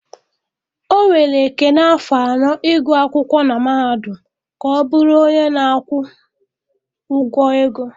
Ọ were Ekene afọ anọ ịgụ akwụkwọ na mahadum ka ọ bụrụ onye na-akwụ ụgwọ ego